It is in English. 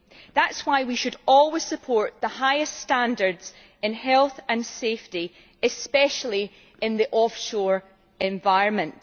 That is why we should always support the highest standards in health and safety, especially in the off shore environment.